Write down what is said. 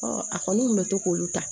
a kɔni kun bɛ to k'olu ta